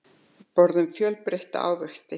Borðum fjölbreytta ávexti